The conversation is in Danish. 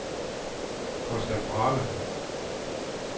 Costa Brava